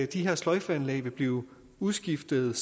de her sløjfeanlæg vil blive udskiftet